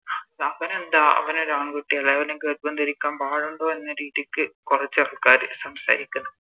അവനെന്താ അവനൊരു ആൺകുട്ടിയല്ലേ അവന് ഗർഭം ധരിക്കാൻ പാടുണ്ടോ എന്ന രീതിക്ക് കൊറച്ചാൾക്കാര് സംസാരിക്കുന്ന്